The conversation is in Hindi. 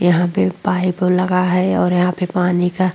यहां पे पाइप लगा है और यहां पे पानी का --